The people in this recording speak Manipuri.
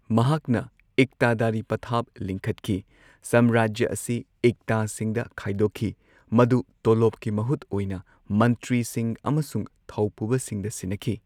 ꯃꯍꯥꯛꯅ ꯏꯛꯇꯗꯥꯔꯤ ꯄꯊꯥꯞ ꯂꯤꯡꯈꯠꯈꯤ ꯁꯝꯔꯥꯖ꯭ꯌ ꯑꯁꯤ ꯏꯛꯇꯥꯁꯤꯡꯗ ꯈꯥꯢꯗꯣꯛꯈꯤ, ꯃꯗꯨ ꯇꯣꯂꯣꯞꯀꯤ ꯃꯍꯨꯠ ꯑꯣꯢꯅ ꯃꯟꯇ꯭ꯔꯤꯁꯤꯡ ꯑꯃꯁꯨꯡ ꯊꯧꯄꯨꯕꯁꯤꯡꯗ ꯁꯤꯟꯅꯈꯤ꯫